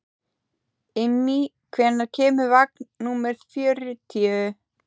Immý, hvenær kemur vagn númer fjörutíu?